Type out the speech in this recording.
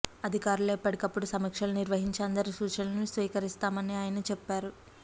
అధికారులో ఎప్పటికప్పుడు సమీక్షలు నిర్వహించి అందరి సూచనలను స్వీకరిస్తానని ఆయన చెప్పారు